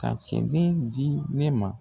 Ka cɛden di ne ma.